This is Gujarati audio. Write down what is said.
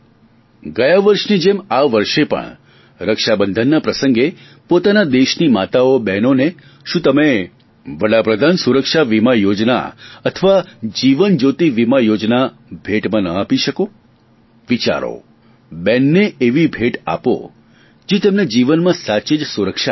ગયા વર્ષની જેમ આ વર્ષે પણ રક્ષાબંધનના પ્રસંગે પોતાના દેશની માતાઓ બહેનોને શું તમે વડાપ્રધાન સુરક્ષા બીમા યોજના અથવા જીવન જ્યોતિ બીમા યોજના ભેટમાં ન આપી શકો વિચારો બહેનને એવી ભેટ આપો જે તેમને જીવનમાં સાચે જ સુરક્ષા આપે